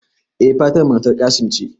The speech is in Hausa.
E Fatima matar Qassim ce